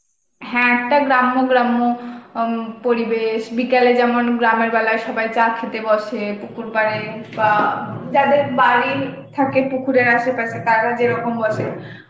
হ্যাঁ, একটা গ্রাম্য গ্রাম্য আ পরিবেশ, বিকেলে যেমন গ্রামের বেলায় সবাই চা খেতে বসে পুকুর পাড়ে বা যাদের বাড়ি থাকে পুকুরে আশেপাশেতারা যেরকম বসে,